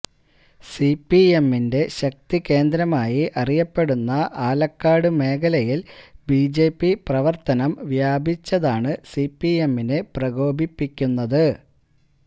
സിപിഎമ്മിന്റെ ശക്തികേന്ദ്രമായി അറിയപ്പെടുന്ന ആലക്കാട് മേഖലയില് ബിജെപി പ്രവര്ത്തനം വ്യാപിച്ചതാണ് സിപിഎമ്മിനെ പ്രകോപിപ്പിക്കുന്നത്